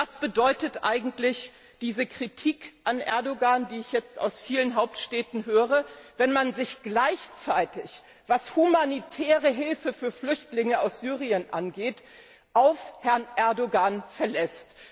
Was bedeutet eigentlich diese Kritik an Erdogan, die ich jetzt aus vielen Hauptstädten höre, wenn man sich gleichzeitig was humanitäre Hilfe für Flüchtlinge aus Syrien angeht auf Herrn Erdogan verlässt?